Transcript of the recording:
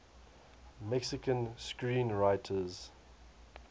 mexican screenwriters